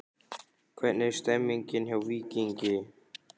Hvernig er stemningin hjá Víkingi?